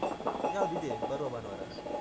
ಯಾವ್ದು ಇದೆ ಬರುವ ಭಾನುವಾರ?